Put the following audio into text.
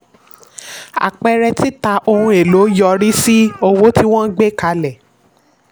àpẹẹrẹ: tita ohun èlò yọrí sí owó tí wọ́n gbé kalẹ̀.